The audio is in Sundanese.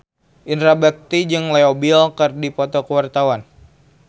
Indra Bekti jeung Leo Bill keur dipoto ku wartawan